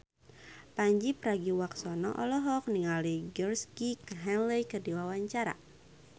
Pandji Pragiwaksono olohok ningali Georgie Henley keur diwawancara